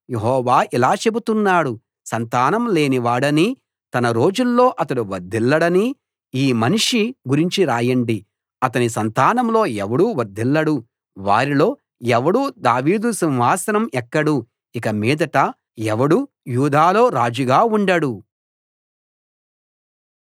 యెహోవా ఇలా చెబుతున్నాడు సంతానం లేనివాడనీ తన రోజుల్లో అతడు వర్ధిల్లడనీ ఈ మనిషి గురించి రాయండి అతని సంతానంలో ఎవడూ వర్ధిల్లడు వారిలో ఎవడూ దావీదు సింహాసనం ఎక్కడు ఇక మీదట ఎవడూ యూదాలో రాజుగా ఉండడు